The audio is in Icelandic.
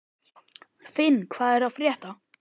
Finn, hvað er að frétta?